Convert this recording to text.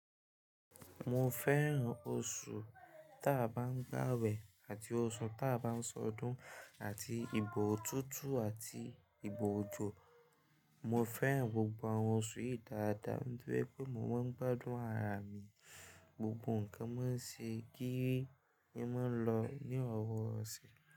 Mo fẹ́ràn oṣù ta bá ń gbàwẹ̀ àti oṣù ta bá ń ṣọdún àti ìgbò ọ̀tútù àti ìgbò òjò. Mo fẹ́ràn gbogbo àwọn oṣù yìí dáadáa. Nítorí pé mo máa ń gbádùn ara mi, gbogbo nǹkan máa ń ṣe gírì e máa ń lọ ní irọ̀wọ̀rọ̀sẹ̀.